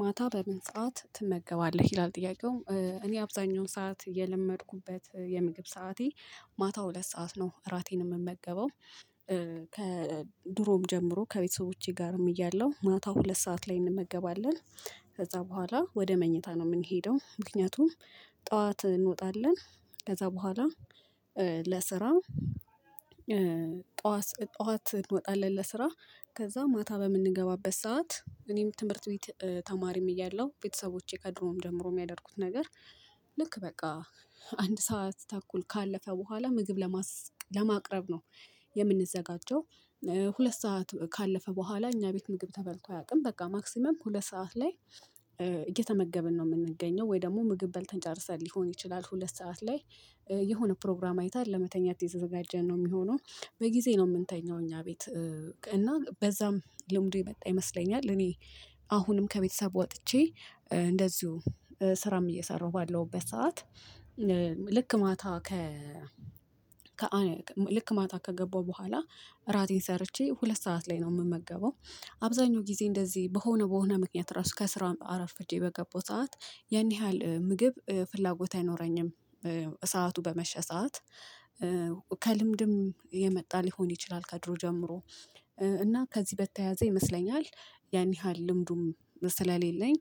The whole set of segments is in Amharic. ማታ በምን ሰዓት ትመገባለህ ይላል ጥያቄው እኔ አብዛኛውን ሰዓት የለመድኩበት የምግብ ሰዓቴ ማታው ሁለት ሰዓት ነው እራቴን የምመገበው። ከድሮም ጀምሮ ከቤተሰቦቼ ጋርም እያለሁ ማታው ሁለት ሰዓት ላይ እንመገባለን። ከዛ በኋላ ወደ መኝታ ነው የምንሄደው ምክንያቱም ጠዋት እንወጣለን። ከዛ በኋላ ለስራም ጠዋት ጠዋት እንወጣለን ለስራ ከዛ ማታ በምንገባበት ሰዓት እኔም ትምህርት ቤት ተማሪም እያለሁ ቤተሰቦቼ ከድሮም ጀምሮ የሚያደርጉት ነገር። ልክ በቃ አንድ ሰዓት ተኩል ካለፈ በኋላ ምግብ ለማቅረብ ነው የምንዘጋጀው። ሁለት ሰዓት ካለፈ በኋላ እኛ ቤት ምግብ ተበልቶ አያውቅም። በቃ ማክሲማም ሁለት ሰዓት ላይ እየተመገብን ነው የምንገኘው። ወይ ደግሞ ምግብ በልተን ጨርሰን ሊሆን ይችላል። ሁለት ሰዓት ላይ የሆነ ፕሮግራም አይተን ለመተኛት የተዘጋጀን ነው የሚሆነው። በጊዜ ነው የምንተኘው የምንተኛው እኛ ቤት። እና በዛም ልምዱ የመጣ ይመስለኛል። እኔ አሁንም ከቤተሰብ ወጥቼ እንደዚሁ ስራም እየሰራሁ ባለውበት ሰዓት። ልክ ማታ ከ ከአንድ ልክ ማታ ከገባሁ በኋላ እራቴን ሰርቼ ሁለት ሰዓት ላይ ነው የምመገበው። አብዛኛው ጊዜ እንደዚህ በሆነ በሆነ ምክንያት ራሱ ከስራውን አርፍርጄ በገባው ሰዓት ያን ያህል ምግብ ፍላጎት አይኖረኝም። ሰዓቱ በመሸ ሰዓት ከልምድም የመጣ ሊሆን ይችላል። ከድሮ ጀምሮ እና ከዚህ በተያያዘ ይመስለኛል። ያን ያህል ልምዱም ስለሌለኝ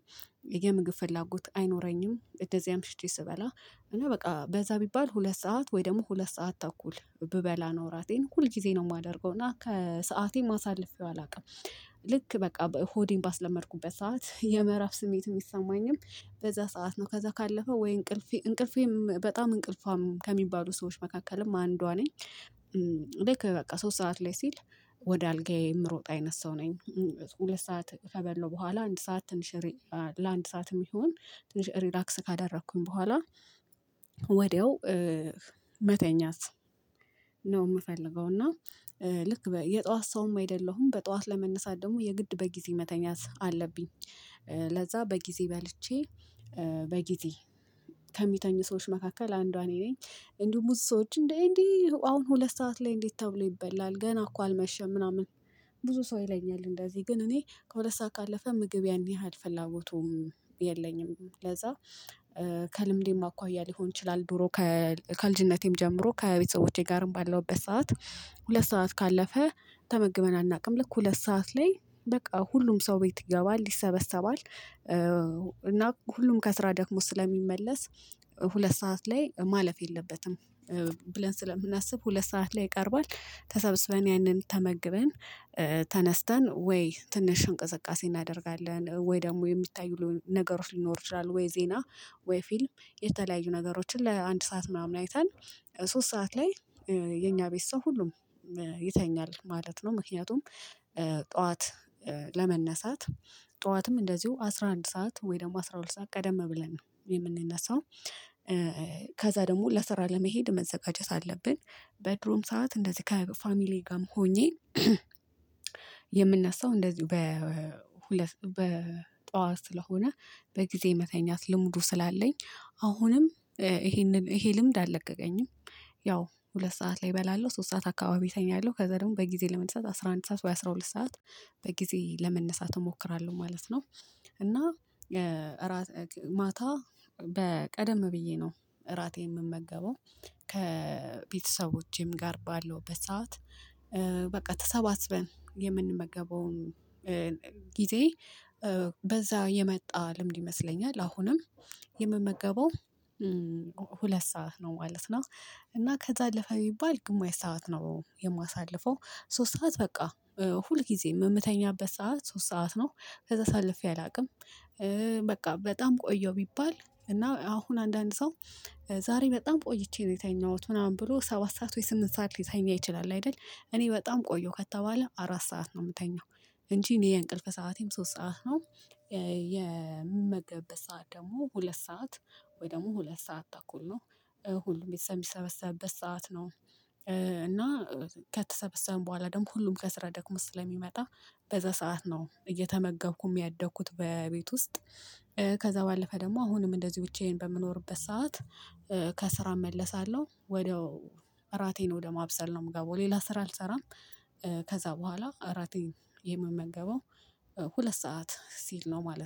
የምግብ ፍላጎት አይኖረኝም። እንደዚ አምሽቼ ስበላ እና በቃ በዛ ቢባል ሁለት ሰዓት ወይ ደግሞ ሁለት ሰዓት ተኩል ብበላ ነው ራቴን ሁል ጊዜ ነው የማደርገው እና ከሰዓቴ ማሳለፊያው አላውቅም። ልክ በቃ ሆዴን ባስለመድኩበት ሰዓት የምዕራፍ ስሜት የሚሰማኝም በዛ ሰዓት ነው ከዛ ካለፈ ወይ እንቅልፌ እንቅልፌም በጣም እንቅልፋም ከሚባሉ ሰዎች መካከልም አንዷ ነኝ። ልክ በቃ ሶስት ሰዓት ላይ ሲል ወደ አልጋዬ የምሮጥ አይነት ሰው ነኝ። ሁለት ሰዓት ከበላሁ በኋላ አንድ ሰዓት ትንሽ ለአንድ ሰዓትም ይሁን ትንሽ ሪላክስ ካደረኩኝ በኋላ ወዲያው መተኛት ነው የምፈልገው። እና ልክ የጧት ሰውም አይደለሁም በጧት ለመነሳት ደግሞ የግድ በጊዜ መተኛት አለብኝ። ለዛ በጊዜ በልቼ በጊዜ ከሚተኙ ሰዎች መካከል አንዷ እኔ ነኝ። እንዲሁ ብዙ ሰዎች እንዴ እንዴ አሁን ሁለት ሰዓት ላይ እንዴት? ተብሎ ይበላል ገና እኮ አልመሸም ምናምን ብዙ ሰው ይለኛል እንደዚህ ግን እኔ ከሁለት ሰዓት ካለፈ ምግብ ያን ያህል ፍላጎቱም የለኝም። ለዛ ከልምዴም አኳያ ሊሆን ይችላል። ድሮ ከልጅነቴም ጀምሮ ከቤተሰቦቼ ጋርም ባለውበት ሰዓት ሁለት ሰዓት ካለፈ ተመግበን አናውቅም። ልክ ሁለት ሰዓት ላይ በቃ ሁሉም ሰው ቤት ይገባል ይሰበሰባል እና ሁሉም ከስራ ደክሞ ስለሚመለስ ሁለት ሰዓት ላይ ማለፍ የለበትም። ብለን ስለምናስብ ሁለት ሰዓት ላይ ይቀርቧል ተሰብስበን ያንን ተመግበን ተነስተን ወይ ትንሽ እንቅስቃሴ እናደርጋለን ወይ ደግሞ የሚታዩ ነገሮች ሊኖር ይችላል። ወይ ዜና ወይ ፊልም የተለያዩ ነገሮችን ለአንድ ሰዓት ምናምን አይተን ሶስት ሰዓት ላይ የኛ ቤት ሰው ሁሉም ይተኛል ማለት ነው። ምክንያቱም ጠዋት ለመነሳት ጠዋትም እንደዚሁ አስራ አንድ ሰዓት ወይ ደግሞ አስራ ሁለት ሰዓት ቀደም ብለን የምንነሳው። ከዛ ደግሞ ለስራ ለመሄድ መዘጋጀት አለብን። በድሮም ሰዓት እንደዚህ ከፋሚሊዬ ጋርም ሆኜ የምነሳው እንደዚሁ በጧት ስለሆነ በጊዜ መተኛት ልምዱ ስላለኝ አሁንም ይሄንን ይሄ ልምድ አልለቀቀኝም። ያው ሁለት ሰዓት ላይ እበላለሁ ሶስት ሰዓት አካባቢ እተኛለሁ ከዛ ደግሞ በጊዜ ለመነሳት አስራ አንድ ሰዓት ወይ አስራ ሁለት ሰዓት በጊዜ ለመነሳት እሞክራለሁ ማለት ነው። እና ማታ በ ቀደም ብዬ ነው እራቴ የምመገበው። ከቤተሰቦቼም ጋር ባለሁ በሰአት በቃ ተሰባስበን የምንመገበውን ጊዜ በዛ የመጣ ልምድ ይመስለኛል። አሁንም የመመገበው ሁለት ሰዓት ነው ማለት ነው። እና ከዛ አለፈ ቢባል ግማሽ ሰዓት ነው የማሳልፈው። ሶስት ሰዓት በቃ ሁል ጊዜ የምተኛበት ሰዓት ሶስት ሰዓት ነው። ከዛ አሳልፌ አላውቅም። በቃ በጣም ቆየሁ ቢባል እና አሁን አንዳንድ ሰው ዛሬ በጣም ቆይቼ ነው የተኛሁት ምናምን ብሎ ሰባት ሰዓት ስምንት ሰዓት ሊተኛ ይችላል አይደል? እኔ በጣም ቆየሁ ከተባለ አራት ሰዓት ነው የምተኛው። እንጂ እኔ የእንቅልፍ ሰዓቴም ሶስት ሰዓት ነው። የምመገብበት ሰዓት ደግሞ ሁለት ሰዓት ወይ ደግሞ ሁለት ሰዓት ተኩል ነው። ሁሉም ቤተሰብ የሚሰበሰበት ሰዓት ነው። እና ከተሰበሰብን በኋላ ደግሞ ሁሉም ከስራ ደክሞት ስለሚመጣ በዛ ሰዓት ነው እየተመገብኩ ያደግኩት በቤት ውስጥ። ከዛ ባለፈ ደግሞ አሁንም እንደዚህ ብቻዬን በምኖርበት ሰዓት። ከስራ እመለሳለሁ ወደ እራቴን ወደ ማብሰል ነው የምገባው ሌላ ስራ አልሰራም። ከዛ በኋላ እራቴን የምመገበው ሁለት ሰዓት ሲል ነው ማለት ነው